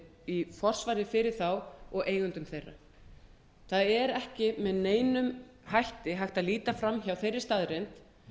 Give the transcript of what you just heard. í forsvari fyrir þá og eigendur þeirra það er ekki með neinum hætti hægt að líta fram hjá þeirri staðreynd